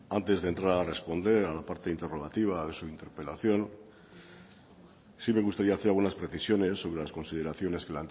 antes de entrar a responder a la parte interrogativa de su interpelación sí me gustaría hacer algunas precisiones sobre las consideraciones que